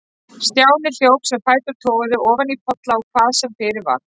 Stjáni hljóp sem fætur toguðu, ofan í polla og hvað sem fyrir varð.